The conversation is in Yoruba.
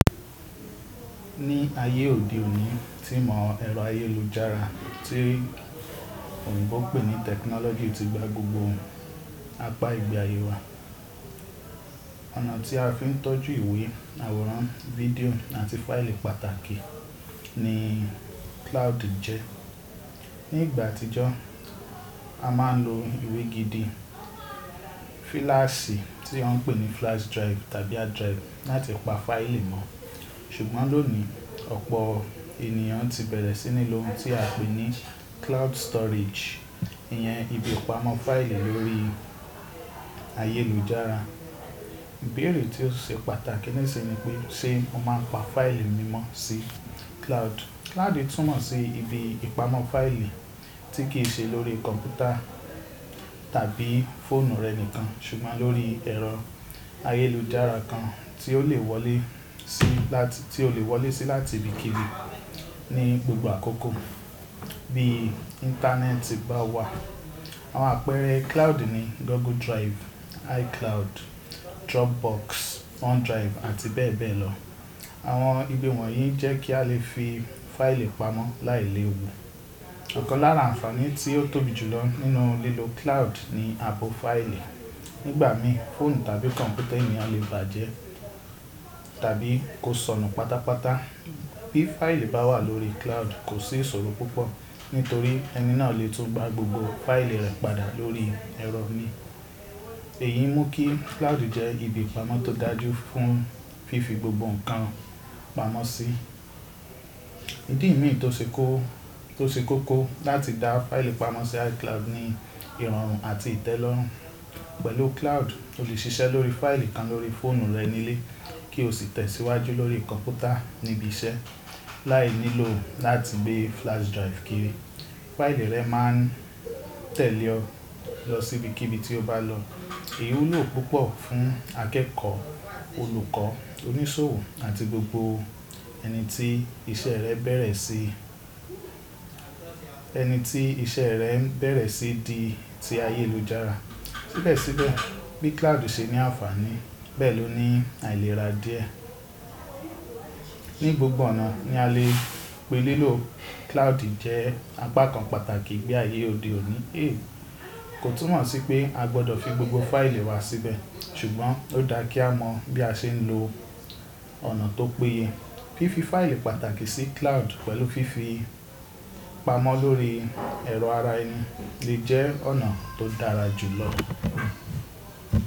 Ní ayé òde òní tí ìmọ̀ ẹ̀rọ ayélujára tí òyìnbó n pè ní technology ti gbá gbogbo ohun, apá ìgbé ayé wa. Ọ̀nà tí a fi ń tọ́jú ìwé, àwòrán, fídíò àti fáìlì pàtàkì ní cloud jẹ́. Ní ìgbà àtijọ́, a máa ń lo ìwé gidi, fíláàsì tí wọ́n ń pè ní flash drive tàbí hard drive láti pa fáìlì mọ́. Ṣùgbọ́n lónìí, ọ̀pọ̀ ènìyàn ti bẹ̀rẹ̀ sí ní lo ohun tí a ń pè ní cloud storage, ìyẹn ibi ìpamọ́ fáìlì lórí ayélujára. Ìbéèrè tí ó ṣe pàtàkì nísìnyi nipé ṣe mo máa ń pa fáìlì mi mọ́ sí cloud? Cloud túmọ̀ sí ibi ìpamọ́ fáìlì tí kì í ṣe lórí kọ̀npútà tàbí fóònù rẹ nìkan, ṣùgbọ́n lórí ẹ̀rọ ayélujára kan tí ó lè wọlé sí láti ibikíbi ní gbogbo àkókò bí íńtánẹ́ẹ̀tì bá wà. Àwọn àpẹẹrẹ cloud ni Google Drive, iCloud, Dropbox, OneDrive àti bẹ́ẹ̀ bẹ́ẹ̀ lọ. Àwọn ibi wọ̀nyí jẹ́ kí a lè fi fáìlì pamọ́ láì léwu. Ọ̀kan lára àǹfààní tí ó tóbi jùlọ nínú lílo cloud ni ààbò fáìlì. Nígbà mí fóònù tàbí kọ̀npútà ènìyàn lè bàjẹ́ tàbí kó sọnù pátápátá. Bí fáìlì bá wà lórí cloud, kò sí ìṣòro púpọ̀ nítorí ẹni náà lè tún gbá gbogbo fáìlì rẹ̀ padà lórí ẹ̀rọ mi. Èyí mú kí cloud jẹ́ ibi ìpamọ́ tó dájú fún fífi gbogbo nǹkan pamọ́ sí. Ìdí mí tó ṣe kókó láti dá fáìlì pamọ́ sí iCloud ni ìrọ̀rùn àti ìtẹ́lọ́rùn. Pẹ̀lú cloud, o lè ṣiṣẹ́ lórí fáìlì kan lórí fóònù rẹ nílé kí o sì tẹ̀síwájú lórí kọ̀npútà ní ibi iṣẹ́ láì nílò láti gbé flash drive kiri. Fáìlì rẹ máa ń tẹ̀lé ọ lọ síbikíbi tí o bá lọ. Èyí wúlò púpọ̀ fún akẹ́kọ̀ọ́, olùkọ́, oníṣòwò àti gbogbo ẹni tí iṣẹ́ rẹ̀ bẹ̀rẹ̀ sí di ti ayélujára. Síbẹ̀síbẹ̀ bí cloud ṣe ní àǹfààní bẹ́ẹ̀ ló ní àìlera díẹ̀. Ní gbogbo ọ̀nà ní a lè pè é lélò, cloud jẹ́ apá kan pàtàkì ìgbé ayé òde òní. Ẹ kò túmọ̀ sí pé a gbọdọ̀ fi gbogbo fáìlì wa síbẹ̀, ṣùgbọ́n ó dáa kí a mọ bí a ṣe ń lo ọ̀nà tó péye. Fífi fáìlì pàtàkì sí cloud pẹ̀lú fífi pamọ́ lórí ẹ̀rọ ara ẹni lè jẹ́ ọ̀nà tó dára jù lọ.